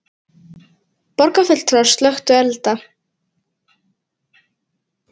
Borgarfulltrúar slökktu elda